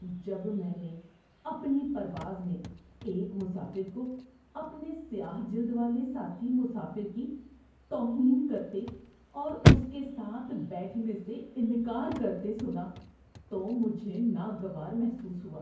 جب میں نے اپنی پرواز میں ایک مسافر کو اپنے سیاہ جلد والے ساتھی مسافر کی توہین کرتے اور اس کے ساتھ بیٹھنے سے انکار کرتے سنا تو مجھے ناگوار محسوس ہوا۔